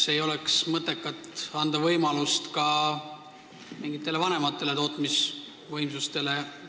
Kas ei oleks mõttekas anda võimalus ka mingitele vanematele tootmisvõimsustele?